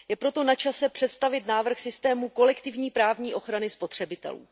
Je proto načase představit návrh systému kolektivní právní ochrany spotřebitelů.